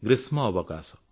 ଗ୍ରୀଷ୍ମଅବକାଶ